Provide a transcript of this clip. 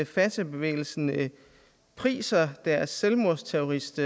fatahbevægelsen priser deres selvmordsterrorist